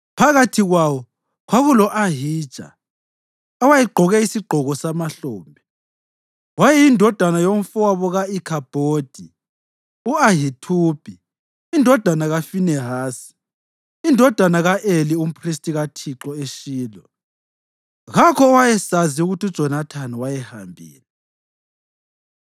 phakathi kwawo kulo-Ahija, owayegqoke isigqoko samahlombe. Wayeyindodana yomfowabo ka-Ikhabhodi u-Ahithubi indodana kaFinehasi, indodana ka-Eli umphristi kaThixo eShilo. Kakho owayesazi ukuthi uJonathani wayehambile.